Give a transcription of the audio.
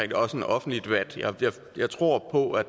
det også en offentlig debat jeg tror på at